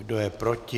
Kdo je proti?